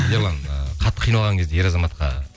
ерлан ы қатты қиналған кезде ер азаматқа